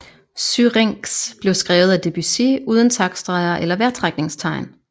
Syrinx blev skrevet af Debussy uden taktstreger eller vejrtrækningstegn